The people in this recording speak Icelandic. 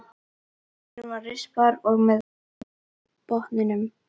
Diskurinn var rispaður og með bungu á botninum.